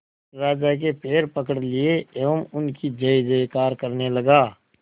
राजा के पैर पकड़ लिए एवं उनकी जय जयकार करने लगा